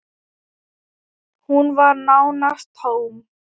Hún var nánast tóm.